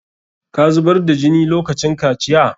Ka zubar da jini lokacin kaciya?